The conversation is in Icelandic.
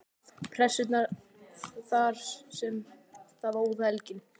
Pressunnar þar sem það óð elginn.